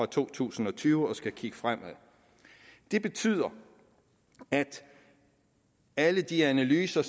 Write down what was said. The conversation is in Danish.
to tusind og tyve og skal kigge fremad det betyder at alle de analyser